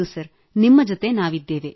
sir ನಿಮ್ಮ ಜೊತೆ ನಾವಿದ್ದೇವೆ